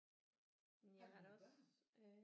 Men jeg har da også